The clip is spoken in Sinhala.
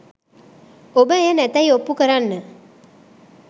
ඔබ එය නැතැයි ඔප්පු කරන්න